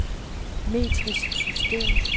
metrisk system